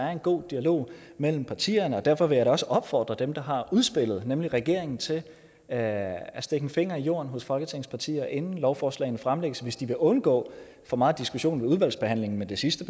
er en god dialog mellem partierne derfor vil jeg da også opfordre dem der har udspillet nemlig regeringen til at stikke en finger i jorden hos folketingets partier inden lovforslagene fremsættes hvis de vil undgå for meget diskussion i udvalgsbehandlingen men det sidste